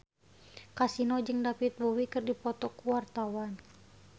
Kasino jeung David Bowie keur dipoto ku wartawan